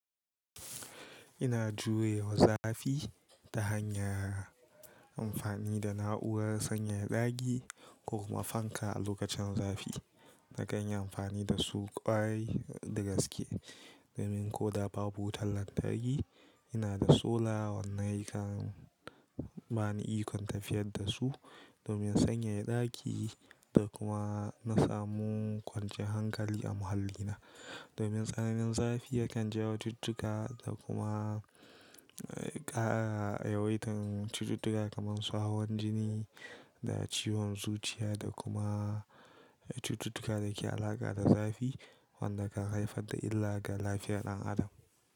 Ina jurewa wa zafi ta hanyar amfani da na'urar sanyaya ɗaki ko kuma fanka a lokacin zafi. Na kan yi amfani da su kwarai da gaske domin ko da babu wutar lantarki, ina da sola wanda yakan bani ikon tafiyar da su domin sanyaya ɗaki da kuma na samu kwancin hankali a muhallina. Domin tsananin zafi yakan jawo cututtuka da kuma ƙara yawaitan cututtuka kamar su hawan jini da ciwon zuciya da kuma cututtuka da ke da alaƙa da zafi wanda kan haifar da illa ga lafiyar ɗan adam.